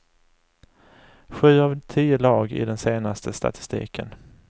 Sju av tio lag i den senaste statistiken.